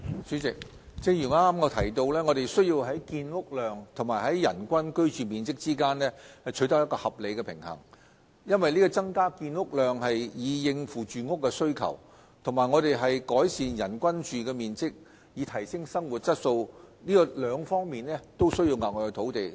主席，正如我剛才提到，我們需要在建屋量及人均居住面積之間取得合理平衡，因為增加建屋量以應付住屋的需求，以及改善人均居住面積以提升生活質素，兩者均需要額外土地。